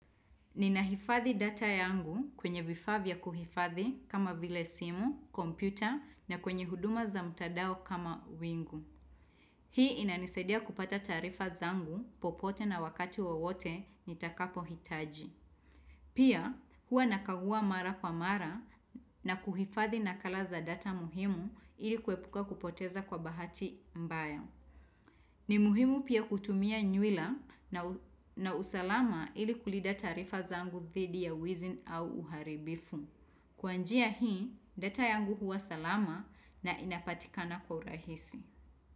Ninahifadhi data yangu kwenye vifavya kuhifadhi kama vile simu, kompyuta na kwenye huduma za mtadao kama wingu. Hii inanisadia kupata taarifa zangu popote na wakati wawote nitakapohitaji. Pia hua nakagua mara kwa mara na kuhifadhi nakala za data muhimu ili kuepuka kupoteza kwa bahati mbaya. Ni muhimu pia kutumia nywila na usalama ili kulinda taarifa zangu thidi ya wizi au uharibifu. Kwanjia hii, data yangu huwa salama na inapatikana kwa urahisi.